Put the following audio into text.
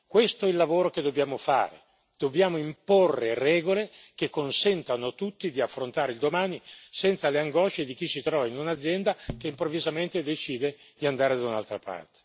Questo è il lavoro che dobbiamo fare, dobbiamo imporre regole che consentano a tutti di affrontare il domani senza le angosce di chi si trova in un'azienda che improvvisamente decide di andare da un'altra parte.